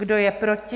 Kdo je proti?